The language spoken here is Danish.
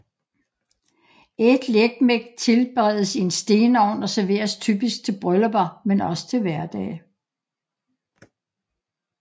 Etliekmek tilberedes i en stenovn og serveres typisk til bryllupper men også til hverdag